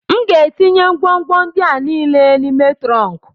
M ga-etinye ngwongwo ndị a niile n'ime trọnk